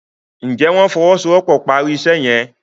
njé wón ìfowosowopo pá rí iṣé yen?